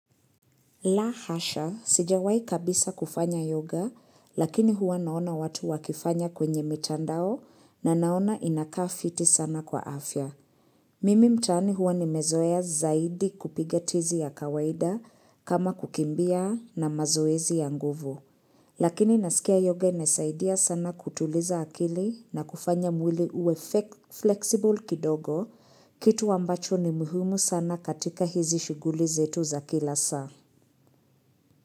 La hasha, sijawai kabisa kufanya yoga, lakini huwa naona watu wakifanya kwenye mitandao na naona inakaa fiti sana kwa afya. Mimi mtaani huwa nimezoea zaidi kupiga tizi ya kawaida kama kukimbia na mazoezi ya nguvu. Lakini nasikia yoga inasaidia sana kutuliza akili na kufanya mwili uwe flexible kidogo, kitu wambacho ni muhumu sana katika hizi shughuli zetu za kila saa.